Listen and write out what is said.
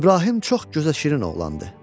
İbrahim çox gözəşirin oğlandı.